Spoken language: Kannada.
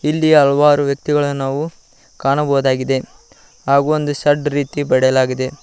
ಇಲ್ಲಿ ಹಲವಾರು ವ್ಯಕ್ತಿಗಳನ್ನು ನಾವು ಕಾಣಬಹುದಾಗಿದೆ ಹಾಗು ಒಂದು ಶಡ್ ರೀತಿ ಬಡೆಯಲಾಗಿದೆ.